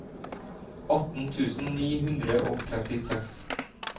atten tusen ni hundre og trettiseks